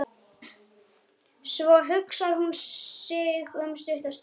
Svo hugsar hún sig um stutta stund.